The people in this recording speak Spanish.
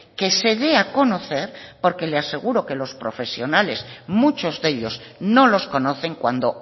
que se dé a conocer porque le aseguro que los profesionales muchos de ellos no los conocen cuando